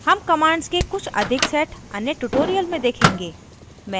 हम commands के कुछ अधिक set अन्य tutorial में देखेंगे